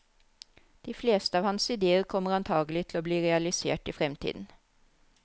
De fleste av hans idéer kommer antagelig til å bli realisert i fremtiden.